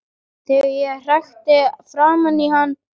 Þegar ég hrækti framan í hann.